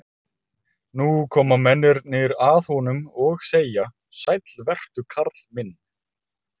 Nú koma mennirnir að honum og segja: Sæll vertu karl minn.